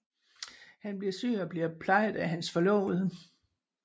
Han bliver syg og bliver plejet af hans forlovede